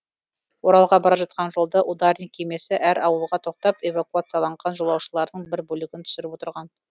оралға бара жатқан жолда ударник кемесі әр ауылға тоқтап эвакуацияланған жолаушылардың бір бөлігін түсіріп отырған